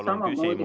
Palun küsimus!